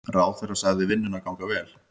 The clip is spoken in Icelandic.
Ráðherra sagði vinnuna ganga vel.